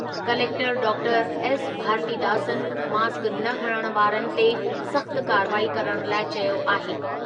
Collector doctor S Bharathidasan mask न हणण वारनि ते सख़्त कार्रवाई करण लाइ चयो आहे।